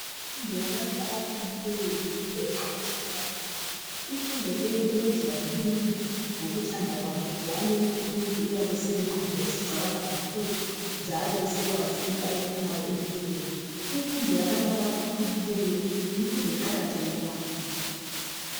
Imfundo yabantu abakhulileyo yimfundo eqakatheke kakhulu imfundo leyi iyenzwa ngumuntu ngokuthanda kwakhe njalo umuntu uyabe selengqondo ezicabanga kakhulu njalo esekwazi into ayifunayo empilweni, imfundo yabantu abakhulileyo yimfundo eqakatheke kakhulu.